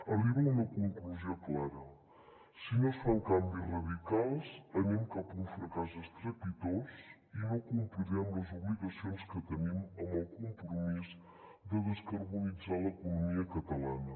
arriba a una conclusió clara si no es fan canvis radicals anem cap a un fracàs estrepitós i no complirem les obligacions que tenim amb el compromís de descarbonitzar l’economia catalana